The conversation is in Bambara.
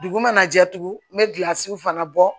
Dugu mana jɛ tugun n bɛ gilasiw fana bɔ